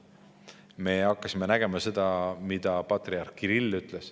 Me hakkasime, mida ütles patriarh Kirill.